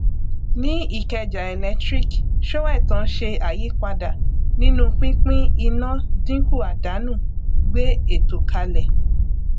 ní ikeja electric[ sóẹtàn ṣe àyípadà nínú pínpín iná dínkù àdánù gbé ètò kalẹ